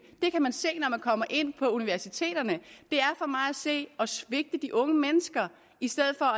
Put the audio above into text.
det kan man se når man kommer ind på universiteterne at se at svigte de unge mennesker i stedet for